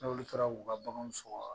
N'olu taara k'u ka bagan sɔgɔ